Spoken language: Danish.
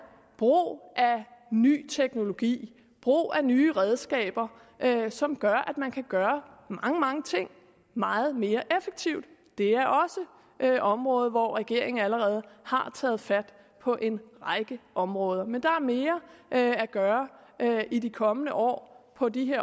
brug af ny teknologi brug af nye redskaber som gør at man kan gøre mange mange ting meget mere effektivt det er også et område hvor regeringen allerede har taget fat på en række områder men der er mere at gøre i de kommende år på de